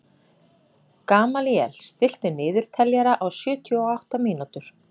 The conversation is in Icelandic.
Gamalíel, stilltu niðurteljara á sjötíu og átta mínútur.